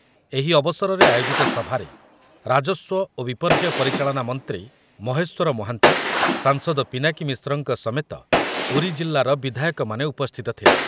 ଏହି ଅବସରରେ ଆୟୋଜିତ ସଭାରେ ରାଜସ୍ୱ ଓ ବିପର୍ଯ୍ୟୟ ପରିଚାଳନା ମନ୍ତ୍ରୀ ମହେଶ୍ୱର ମହାନ୍ତି, ସାଂସଦ ପିନାକୀ ମିଶ୍ରଙ୍କ ସମେତ ପୁରୀ ଜିଲ୍ଲାର ବିଧାୟକମାନେ ଉପସ୍ଥିତ ଥିଲେ ।